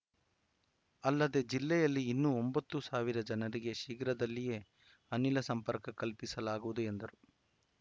ಅಲ್ಲದೆ ಜಿಲ್ಲೆಯಲ್ಲಿ ಇನ್ನು ಒಂಬತ್ತು ಸಾವಿರ ಜನರಿಗೆ ಶೀಘ್ರದಲ್ಲಿಯೇ ಅನಿಲ ಸಂಪರ್ಕ ಕಲ್ಪಿಸಲಾಗುವುದು ಎಂದರು